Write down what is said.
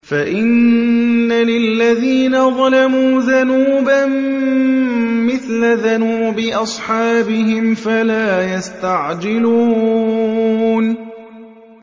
فَإِنَّ لِلَّذِينَ ظَلَمُوا ذَنُوبًا مِّثْلَ ذَنُوبِ أَصْحَابِهِمْ فَلَا يَسْتَعْجِلُونِ